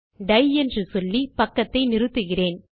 tie என்று சொல்லி பக்கத்தை நிறுத்துகிறேன்